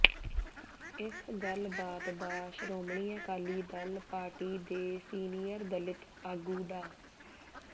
ਇਸ ਗੱਲਬਾਤ ਦਾ ਸ੍ਰੋਮਣੀ ਅਕਾਲੀ ਦਲ ਪਾਰਟੀ ਦੇ ਸੀਨੀਅਰ ਦਲਿਤ ਆਗੂ ਡਾ